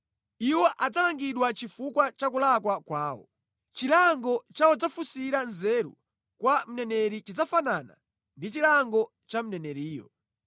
Iwo adzalangidwa chifukwa cha kulakwa kwawo. Chilango cha wodzafunsira nzeru kwa mneneri chidzafanana ndi chilango cha mneneriyo.